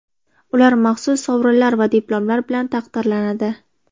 Ular maxsus sovrinlar va diplomlar bilan taqdirlanadi.